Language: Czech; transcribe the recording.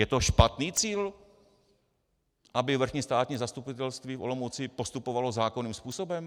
Je to špatný cíl, aby Vrchní státní zastupitelství v Olomouci postupovalo zákonným způsobem?